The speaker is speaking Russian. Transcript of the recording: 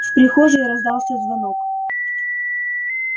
в прихожей раздался звонок